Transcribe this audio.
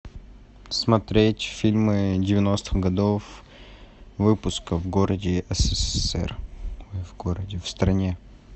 смотреть фильмы девяностых годов выпуска в городе ссср ой в городе в стране